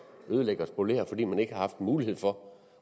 ødelægge og spolere fordi man ikke har haft en mulighed for